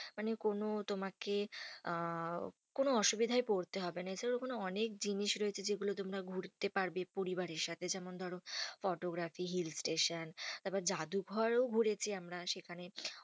মানে কোনো তোমাকে আহ কোনো অসুবিধায় পড়তে হবে না। এছাড়া ওখানে অনেক জিনিস রয়েছে যেগুলো তোমরা ঘুরতে পারবে পরিবারের সাথে। যেমন ধরো, photography hill station তারপর জাদুঘরও ঘুরেছি আমরা সেখানে।